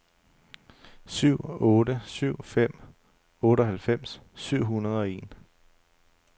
syv otte syv fem otteoghalvfems syv hundrede og en